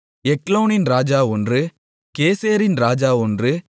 எக்லோனின் ராஜா ஒன்று கேசேரின் ராஜா ஒன்று